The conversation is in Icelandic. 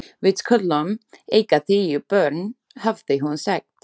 Við skulum eiga tíu börn, hafði hún sagt.